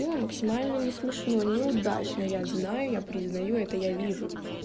делаю максимально не смешно неудачно я знаю я признаю это я вижу